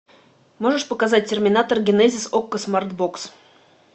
можешь показать терминатор генезис окко смарт бокс